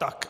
Tak.